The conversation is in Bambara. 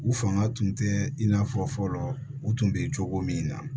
U fanga tun tɛ i n'a fɔ fɔlɔ u tun bɛ cogo min na